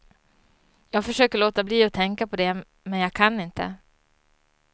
Jag försöker låta bli att tänka på det men jag kan inte.